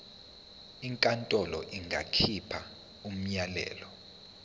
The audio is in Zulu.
inkantolo ingakhipha umyalelo